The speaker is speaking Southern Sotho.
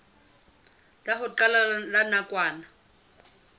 la ho qala la nakwana